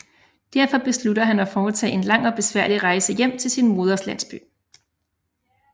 Derfor beslutter han at foretage en lang og besværlig rejse hjem til sin moders landsby